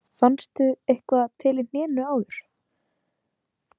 Fannstu eitthvað til í hnénu áður?